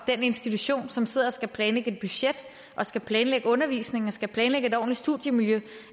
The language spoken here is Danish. den institution som sidder og skal planlægge et budget og skal planlægge undervisningen og skal planlægge et ordentligt studiemiljø